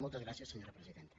moltes gràcies senyora presidenta